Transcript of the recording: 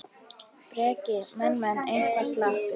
Breki: Menn, menn eitthvað slappir?